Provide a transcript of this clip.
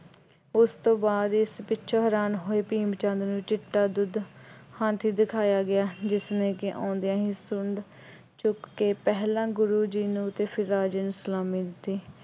ਉਸ ਤੋਂ ਬਾਅਦ ਇਸ ਪਿੱਛੋਂ ਹੈਰਾਨ ਹੋਏ ਭੀਮ ਚੰਦ ਨੇ ਚਿੱਟਾ ਦੁੱਧ ਹਾਥੀ ਦਿਖਾਇਆ ਗਿਆ ਜਿਸਨੇ ਕਿ ਆਉਂਦਿਆਂ ਹੀ ਸੁੰਡ ਚੁੱਕ ਕੇ ਪਹਿਲਾਂ ਗੁਰੂ ਜੀ ਨੂੰ ਅਤੇ ਫਿਰ ਰਾਜੇ ਨੂੰ ਸਲਾਮੀ ਦਿੱਤੀ।